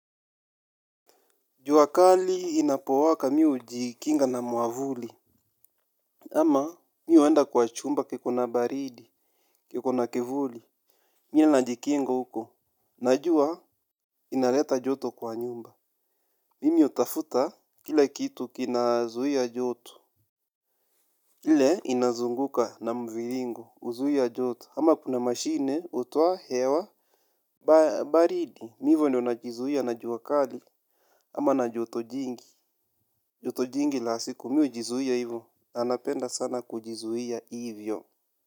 Jua kali inapowaka mi hujikinga na mwavuli. Ama mi huenda kwa chumba kikona baridi, kikona kivuli. Mie najikinga huko, najua inaleta joto kwa nyumba. Mimi utafuta kila kitu kina zuhia joto. Ile inazunguka na mviringo, huzuia joto ama kuna mashine utuwa hewa baridi. Ivyo ndio najizuia na jua kali ama na joto jingi, joto jingi la siku, mi ujizuia hivo. Na napenda sana kujizuia hivyo.